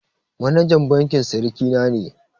Manajan bankin siriki na ne